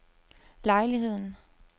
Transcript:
lejligheden